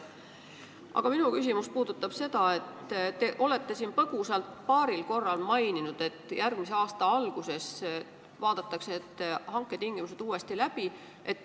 Aga minu küsimus puudutab seda, et te olete siin põgusalt paaril korral maininud, et järgmise aasta alguses vaadatakse need hanke tingimused uuesti läbi.